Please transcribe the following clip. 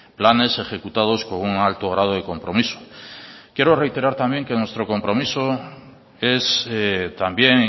planes ejecutados con un alto grado de compromiso quiero reiterar también que nuestro compromiso es también